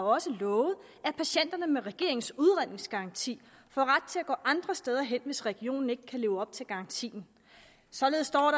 også har lovet at patienterne med regeringens udredningsgaranti får ret til at gå andre steder hen hvis regionen ikke kan leve op til garantien således står